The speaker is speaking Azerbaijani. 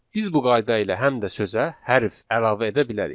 Biz bu qayda ilə həm də sözə hərf əlavə edə bilərik.